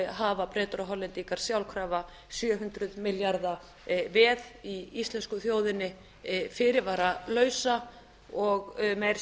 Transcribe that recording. hafa bretar og hollendingar sjálfkrafa sjö hundruð milljarða veð í íslensku þjóðinni fyrirvaralaust og meira að